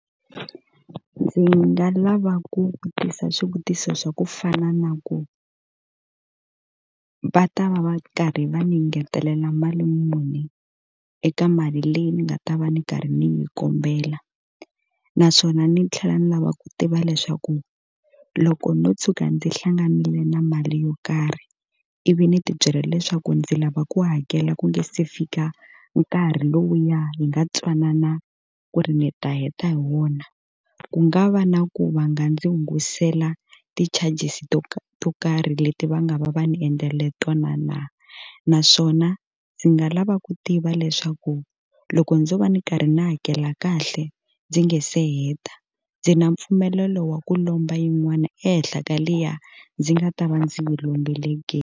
Ndzi nga lava ku vutisa swivutiso swa ku fana na ku, va ta va va karhi va ni ngetelela mali muni eka mali leyi ni nga ta va ndzi karhi ndzi yi kombela? Naswona ni tlhela ni lava ku tiva leswaku loko ndzo tshuka ndzi hlanganile na mali yo karhi ivi ni ti byela leswaku ndzi lava ku hakela ku nga se fika nkarhi lowuya hi nga twanana ku ri ni ta heta hi wona, ku nga va na ku va nga ndzi hungutela ti-charges to to karhi leti va nga va va ni endlele tona na? Naswona ndzi nga lava ku tiva leswaku ku loko ndzo va ndzi karhi ndzi hakela kahle ndzi nge se heta, ndzi na mpfumelelo wa ku lomba yin'wana ehenhla ka liya ndzi nga ta va ndzi wu lombile ke?